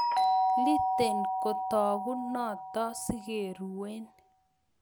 Iiten kitoku noto sikeruen